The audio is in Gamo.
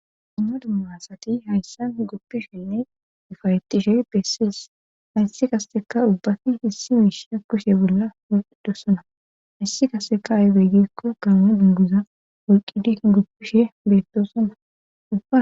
amno dumma asati hayssa goppishenne ufayetishe beessies hayssi kasseka ubbafi hissi miishia kushe bolla poqidosona hayssi kasseka aybeygikko gaame dunduza wolqidi guppishe beettosona